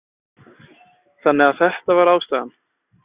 Þannig að þetta var ástæðan?